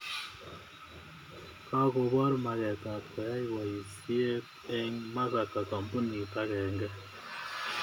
Kakopor maget ap koyai poisyet eng' Masaka kambunit akenge